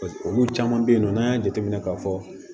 Olu caman bɛ yen nɔ n'an y'a jateminɛ k'a fɔ